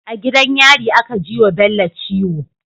A gidan yari aka jiwa bello ciwo